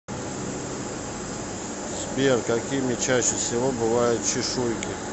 сбер какими чаще всего бывают чешуйки